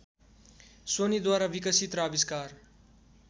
सोनीद्वारा विकसित र आविष्कार